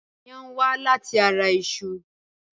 Iyán wá láti ara iṣu.